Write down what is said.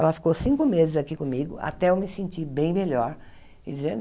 Ela ficou cinco meses aqui comigo até eu me sentir bem melhor.